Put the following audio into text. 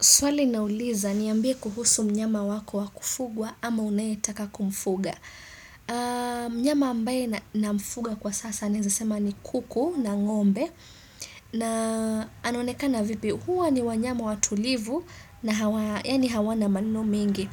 Swali nauliza niambie kuhusu mnyama wako wa kufugwa ama unayetaka kumfuga. Mnyama ambaye namfuga kwa sasa naeza sema ni kuku na ngombe. Na anaonekana vipi huwa ni wanyama watulivu na hawana maneno mengi.